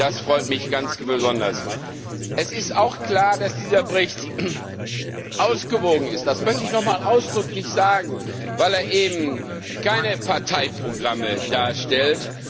Das freut mich ganz besonders. Es ist auch klar, dass dieser Bericht ausgewogen ist das möchte ich noch einmal ausdrücklich sagen weil er eben keine Parteiprogramme darstellt.